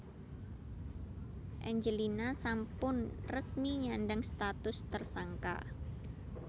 Angelina sampun resmi nyandhang status tersangka